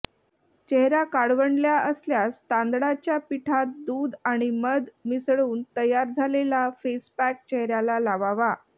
चेहरा काळवंडला असल्यास तांदळाच्या पीठात दूध आणि मध मिसळून तयार झालेला फेस पॅक चेहऱ्याला लावावा